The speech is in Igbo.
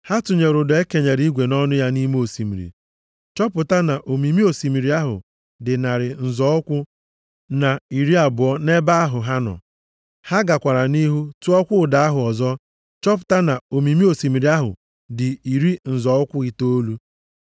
Ha tụnyere ụdọ e kenyere igwe nʼọnụ ya nʼime osimiri chọpụta na omimi osimiri ahụ dị narị nzọ ụkwụ na iri abụọ nʼebe ahụ ha nọ. Ha gakwara nʼihu tụọkwa ụdọ ahụ ọzọ chọpụta na omimi osimiri ahụ dị iri nzọ ụkwụ itoolu.